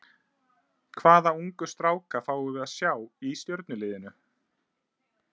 Hvaða ungu stráka fáum við að sjá í Stjörnuliðinu?